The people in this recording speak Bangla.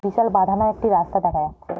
বিশাল বাঁধানো একটি রাস্তা দেখা যাচ্ছে।